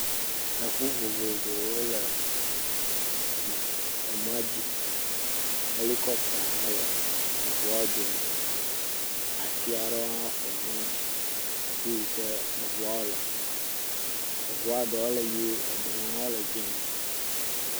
Eŋu vovovowo le em emɔa dzi, hɛlikɔpta hã le eŋuawo dome, ati aɖɔ hã ƒo xlã afi yi ke eŋuawo le. eŋua ɖɔ le ye eye ɖɔ hã le dz0.